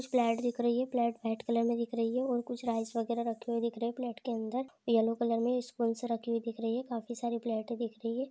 कुछ प्लेट दिख रही है प्लेट वाइट कलर की दिख रही है और कुछ राइस वगेरा दिख रहा है प्लेट के अंदर येलो कलर में स्पूंस रखी हुई दिख रही है काफी सारी प्लेटे दिख रही है।